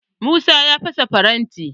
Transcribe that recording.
Musa ya fasa farantin.